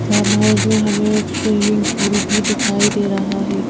Farm house में हमें एक स्विमिंग पूल भी दिखाई दे रहा है।